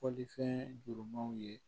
Fɔlifɛn jurumanw ye